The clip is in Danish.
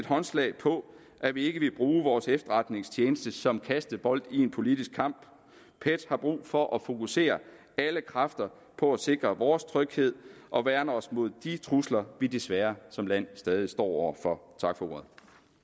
håndslag på at vi ikke vil bruge vores efterretningstjeneste som kastebold i en politisk kamp pet har brug for at fokusere alle kræfter på at sikre vores tryghed og værne os imod de trusler vi desværre som land stadig står over for tak for ordet